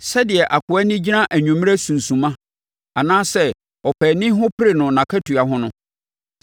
Sɛdeɛ akoa ani gyina anwummerɛ sunsumma, anaasɛ ɔpaani ho pere no nʼakatua ho no,